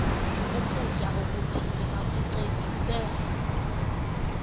ukutya okuthile bakucekise